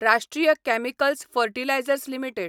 राष्ट्रीय Chemicals Fertilizers limited